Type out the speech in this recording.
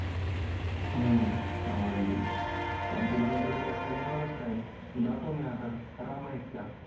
हम्म आवडली पण तुला अक्कल येणारच नाही जातो मी आता म एकटा.